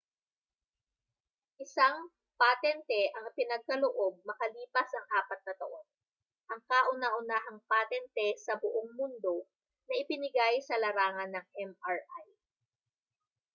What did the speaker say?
isang patente ang ipinagkaloob makalipas ang apat na taon ang kauna-unahang patente sa buong mundo na ibinigay sa larangan ng mri